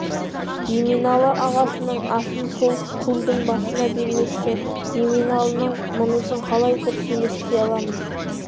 еменалы ағасының асын сол келдің басында бермекші еменалының мұнысын қалай дұрыс емес дей аламыз